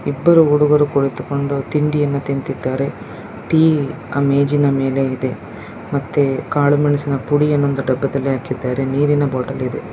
ಇಬ್ಬರು ಹುಡುಗರು ಕುಳಿತುಕೊಂಡು ತಿಂಡಿಯನ್ನು ತಿನ್ನುತಿದ್ದಾರೆ ಟೀ ಆ ಮೇಜಿನ ಮೇಲಿದೆ ಮತ್ತೆ ಕಾಳು ಮೆಣಸಿನ ಪುಡಿಯನ್ನು ಒಂದು ಡಬ್ಬದಲ್ಲಿ ಹಾಕಿದ್ದಾರೆ ನೀರಿನ ಬಾಟಲ್ ಇದೆ.